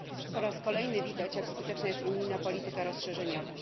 Po raz kolejny widać, jak skuteczna jest unijna polityka rozszerzeniowa.